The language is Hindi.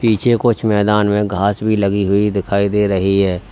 पीछे कुछ मैदान में घास भी लगी हुई दिखाई दे रही है।